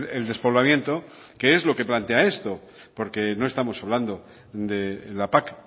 el despoblamiento que es lo que plantea esto porque no estamos hablando de la pac